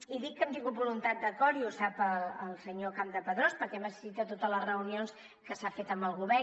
i dic que hem tingut voluntat d’acord i ho sap el senyor campdepadrós perquè hem assistit a totes les reunions que s’han fet amb el govern